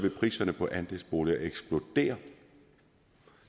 at priserne på andelsboliger vil eksplodere